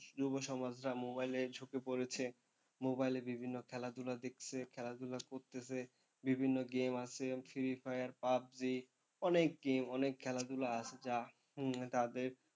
যুব সমাজরা mobile এ ঝুঁকে পড়েছে, mobile এ বিভিন্ন খেলাধুলা দেখতেছে, খেলাধুলা করতেছে, বিভিন্ন game আছে ফ্রী ফায়ার, পাবজী অনেক game অনেক খেলাধুলা আছে যা হম তাদের,